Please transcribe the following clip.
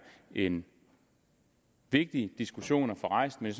en vigtig diskussion at få rejst men